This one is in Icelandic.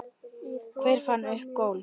Hver fann upp golf?